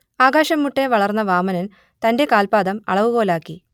ആകാശംമുട്ടെ വളർന്ന വാമനൻ തന്റെ കാൽപ്പാദം അളവുകോലാക്കി